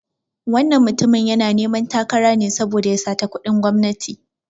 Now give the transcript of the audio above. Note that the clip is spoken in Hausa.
Wannan mutumin yana neman takara ne saboda ya sata kuɗin gwamnati.